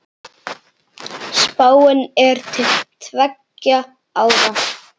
Spáin er til tveggja ára.